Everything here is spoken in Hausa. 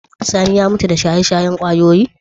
Sani ya mutu da shaye-shayen kwayoyi?